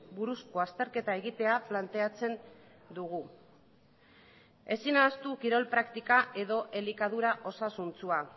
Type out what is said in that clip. buruzko azterketa egitea planteatzen dugu ezin ahaztu kirol praktika edo elikadura osasuntsua